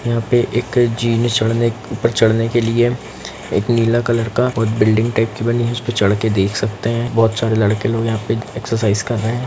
यहां पर एक जीन चढ़ने ऊपर चढ़ने के लिए एक नीला टाइप का और बिल्डिंग टाइप का बना है उस पर चढ़कर देख सकते हैं बहुत सारे लड़के लोग यहां पर एक्सरसाइज कर रहे हैं।